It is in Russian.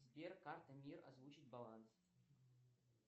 сбер карта мир озвучить баланс